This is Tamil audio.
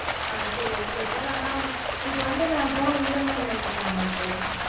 அஹ் சரி okay sir ஆனா இப்போ வந்து நா phoneEMI ல எடுத்துக்கலாமா sir